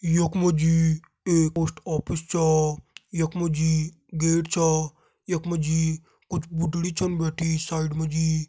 यक मजी एक पोस्ट ऑफिस चा। यक मजी गेट छ यक मजी कुछ बुढडी छन बैठी साइड मजी --